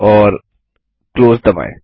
और क्लोज दबायें